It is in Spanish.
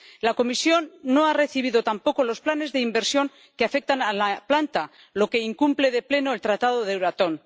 La Comisión no ha recibido tampoco los planes de inversión que afectan a la planta, lo que incumple de pleno el Tratado de Euratom.